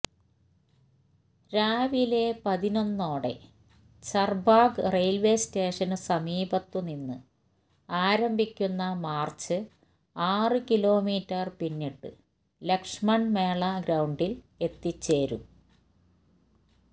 രാവിലെ പതിനൊന്നോടെ ചർബാഗ് റയിൽവേ സ്റ്റേഷനു സമീപത്തുനിന്ന് ആരംഭിക്കുന്ന മാർച്ച് ആറു കിലോമീറ്റർ പിന്നിട്ട് ലക്ഷ്മൺ മേള ഗ്രൌഡിൽ എത്തിച്ചേരും